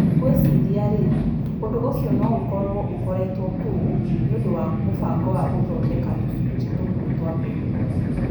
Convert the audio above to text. Gwĩciria-rĩ, ũndũ ũcio no ũkorũo ũkoretwo kuo nĩ ũndũ wa mũbango wa gũthondeka tũcunjĩ tũmwe twa mbegũ.